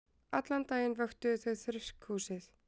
Allan daginn vöktuðu þau þurrkhúsið.